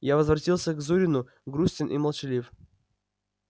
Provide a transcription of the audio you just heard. я возвратился к зурину грустен и молчалив